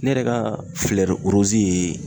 Ne yɛrɛ ka ye